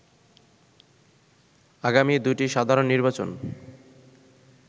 আগামী দুটি সাধারণ নির্বাচন